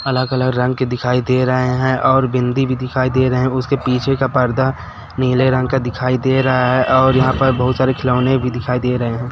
अलग अलग रंग के दिखाई दे रहे है और बिंदी भी दिखाई दे रहे है उसके पीछे का पर्दा नीले रंग का दिखाई दे रहा है और यहा पर बहोत सारे खिलौने भी दिखाई दे रहे है।